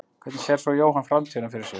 Hvernig sér svo Jóhann framtíðina fyrir sér?